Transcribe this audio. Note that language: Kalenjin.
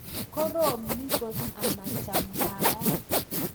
Koroom ni kot amachamdaat